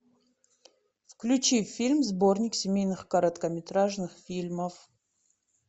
включи фильм сборник семейных короткометражных фильмов